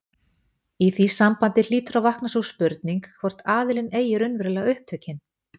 Í því sambandi hlýtur að vakna sú spurning, hvor aðilinn eigi raunverulega upptökin.